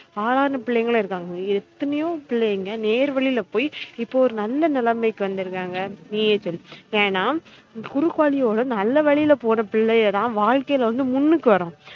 ஆளான பிள்ளைங்களும் இருக்காங்க எத்தனையோ பிள்ளைங்க நேர்வழில போய் இப்ப ஒரு நல்ல நிலமைக்கு வந்திருக்காங்க நீயே சொல்லு ஏனா குறுக்கு வழியோட நல்ல வழில போற பிள்ளைங்க தான் வழ்க்கைல வந்து முன்னுக்கு வரும்